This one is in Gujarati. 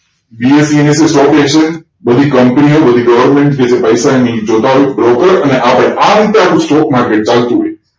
BSE ને સોંપે છે બધી company યો બધી government કે જે પૈસો એમની broker અને આપડે આરીતે આપડુ stock market ચાલતું હોય